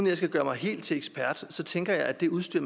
jeg skal gøre mig helt til ekspert tænker jeg at det udstyr